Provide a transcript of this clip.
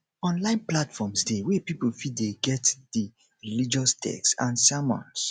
online platforms de wey pipo fit de get di religous text and sermons